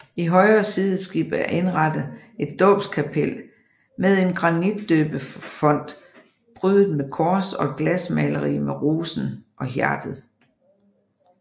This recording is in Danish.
I højre sideskib er indrettet et dåbskapel med en granitdøbefont prydet med kors og et glasmaleri med rosen og hjertet